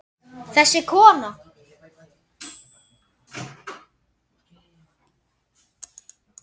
Þessi kona!